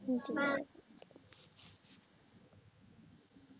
হুম ঠিক আছে